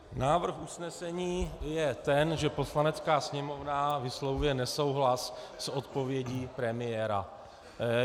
Návrh usnesení je ten, že Poslanecká sněmovna vyslovuje nesouhlas s odpovědí premiéra.